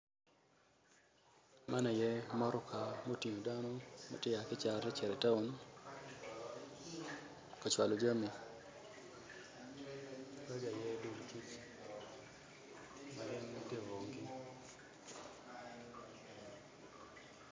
Man aye mutoka ma otingo dano matye ka cito i taun kacwalo jami.